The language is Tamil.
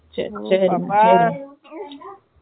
இச் இச் செரி அம்ம்மா.